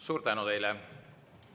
Suur tänu teile!